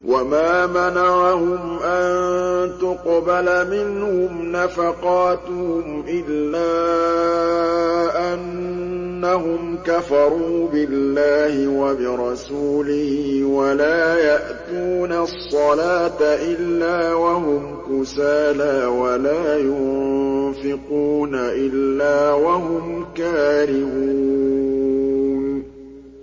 وَمَا مَنَعَهُمْ أَن تُقْبَلَ مِنْهُمْ نَفَقَاتُهُمْ إِلَّا أَنَّهُمْ كَفَرُوا بِاللَّهِ وَبِرَسُولِهِ وَلَا يَأْتُونَ الصَّلَاةَ إِلَّا وَهُمْ كُسَالَىٰ وَلَا يُنفِقُونَ إِلَّا وَهُمْ كَارِهُونَ